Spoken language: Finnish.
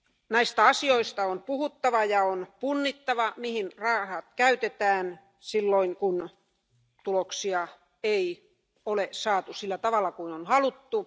Näistä asioista on puhuttava ja on punnittava, mihin rahat käytetään, silloin kun tuloksia ei ole saatu sillä tavalla kuin on haluttu.